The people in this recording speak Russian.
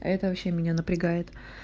это вообще меня напрягает